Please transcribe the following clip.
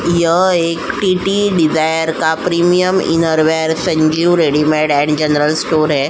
यह एक TT. Desire का premium inner wear Sanjeev readymade and general store है।